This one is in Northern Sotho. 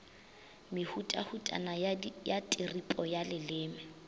mehutahutana ya tiripo ya leleme